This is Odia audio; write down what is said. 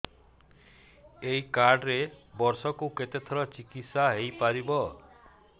ଏଇ କାର୍ଡ ରେ ବର୍ଷକୁ କେତେ ଥର ଚିକିତ୍ସା ହେଇପାରିବ